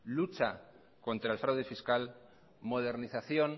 lucha contra el fraude fiscal modernización